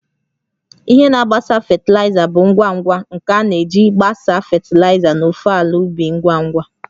Ihe na-agbasa fatịlaịza bụ ngwa ngwa ngwa nke a na-eji gbasaa fatịlaịza n'ofe ala ubi ngwa ngwa